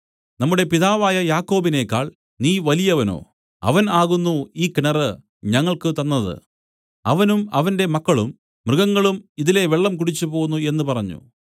നമ്മുടെ പിതാവായ യാക്കോബിനേക്കാൾ നീ വലിയവനോ അവൻ ആകുന്നു ഈ കിണറ് ഞങ്ങൾക്കു തന്നതു അവനും അവന്റെ മക്കളും മൃഗങ്ങളും ഇതിലെ വെള്ളം കുടിച്ചുപോന്നു എന്നു പറഞ്ഞു